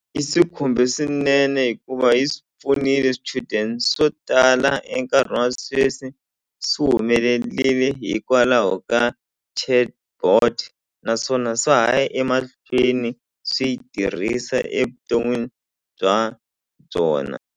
I swi khumbe swinene hikuva yi swi pfunile swichudeni swo tala enkarhini wa sweswi swi humelerile hikwalaho ka chatbot naswona swa ha ya emahlweni swi yi tirhisa evuton'wini bya byona.